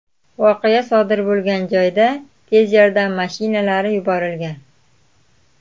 Voqea sodir bo‘lgan joyga tez yordam mashinalari yuborilgan.